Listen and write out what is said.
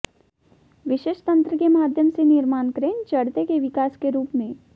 विशेष तंत्र के माध्यम से निर्माण क्रेन चढ़ते के विकास के रूप में